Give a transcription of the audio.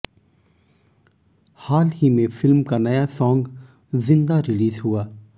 हाल ही में फिल्म का नया सॉन्ग जिंदा रिलीज हुआ